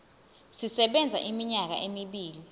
sisebenza iminyaka emibili